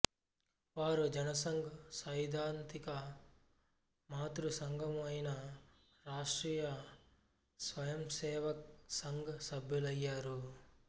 వారు జనసంఘ్ సైద్ధాంతిక మాతృసంఘమైన రాష్ట్రీయ స్వయంసేవక్ సంఘ్ సభ్యులయ్యారు